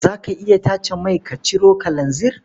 Za ka iya tace mai ka ciro kalanzir?